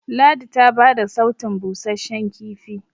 ladi ta bada sautun busasshen kifi